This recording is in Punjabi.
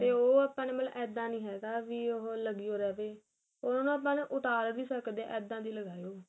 ਤੇ ਉਹ ਆਪਾਂ ਨੇ ਇੱਦਾ ਨੀ ਹੈਗਾ ਬੀ ਉਹ ਲਗੀ ਓ ਰਹੇ ਵੀ ਉਹਨੂੰ ਨਾ ਆਪਾਂ ਉਤਾਰ ਵੀ ਸਕਦੇ ਇੱਦਾ ਦੀ ਲਗਾਈਉ